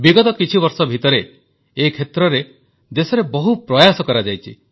ବିଗତ କିଛି ବର୍ଷ ଭିତରେ ଏ କ୍ଷେତ୍ରରେ ଦେଶରେ ବହୁ ପ୍ରୟାସ କରାଯାଇଛି